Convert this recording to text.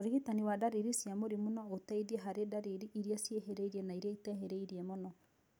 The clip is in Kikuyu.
ũrigitani wa ndariri cia mũrimũ no ũteithie harĩ ndariri irĩa ciĩhĩrĩirie na irĩa itehĩrĩirie mũno